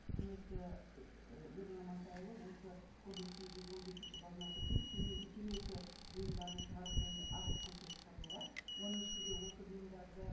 құрметті ы елжан амантайұлы осы кодекстің жүз он бесінші бабына сәйкес темекі бұйымдарын шығарып және ашық көрсетіп сатуға оның ішінде осы бұйымдарды